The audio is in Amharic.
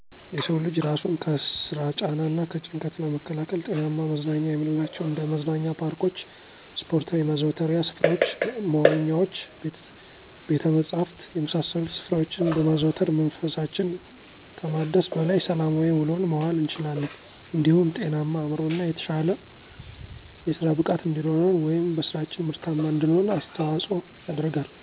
የሰው ልጅ እራሱን ከስራ ጫና እና ከጭንቀት ለመከላከል ጤናማ መዝናኛ የምንላቸው እንደ መዝናኛ ፓርኮች፣ ስፓርታዊ ማዘውተሪያ ስፍራዎች፣ መዋኛዎች፣ ቤተ መፃህፍት የመሳሰሉት ስፍራዎችን በማዘውተር መንፈሳችን ከማደስ በላይ ሰላማዊ ውሎን መዋል እንችላለን እንዲሁም ጤናማ አዕምሮ እና የተሻለ የስራ ብቃት እንዲኖረን ወይም በስራችን ምርታማ እንድንሆን አስተዋጽኦ ያደርጋል።